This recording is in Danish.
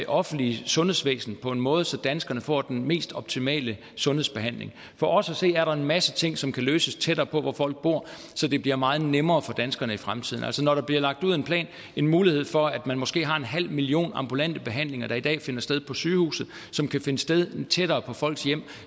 offentlige sundhedsvæsen på en måde så danskerne får den mest optimale sundhedsbehandling for os at se er der en masse ting som kan løses tættere på hvor folk bor så det bliver meget nemmere for danskerne i fremtiden altså når der bliver en mulighed for at den måske halve million ambulante behandlinger der i dag finder sted på sygehuset kan finde sted tættere på folks hjem